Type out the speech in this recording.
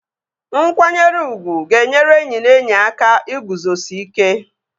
Nkwanyere ugwu ga-enyere enyi na enyi aka iguzosi ike